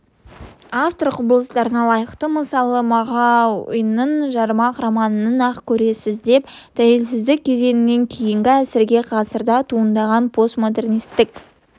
автор құбылыстарына лайықты мысалды мағауиннің жармақ романынан-ақ көресіз деп тәуелсіздік кезеңінен кейінгі әсірсе ғасырда туындаған постмодернстік